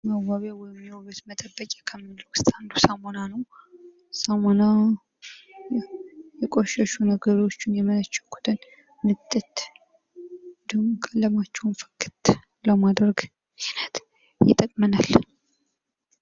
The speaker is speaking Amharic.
መዋቢያ ወይም የዉበት መጠበቂያ ከሚባሉት አንዱ ሳሙና ነዉ። ሳሙና የቆሸሹ ነገሮችን የመነቸኩትን ንጥት እንዲሁም ቀለማቸዉን ፍክት ለማድረግ ይጠቅመናል።